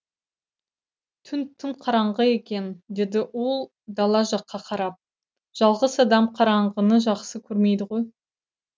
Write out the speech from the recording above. түн тым қараңғы екен деді ол дала жаққа қарап жалғыз адам қараңғыны жақсы көрмейді ғой